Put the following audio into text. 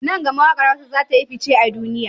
Nan gama waƙar hausa zatayi fice a duniya